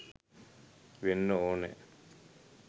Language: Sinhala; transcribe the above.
වෙන්න ඕන.